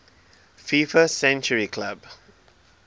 fifa century club